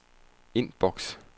indboks